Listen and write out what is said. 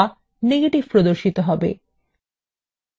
অথবা negetive প্রদর্শন করা হবে